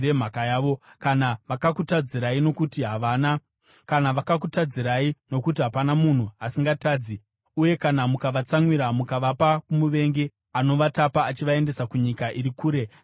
“Kana vakakutadzirai, nokuti hapana munhu asingatadzi, uye kana mukavatsamwira mukavapa kumuvengi, anovatapa achivaendesa kunyika iri kure kana pedyo;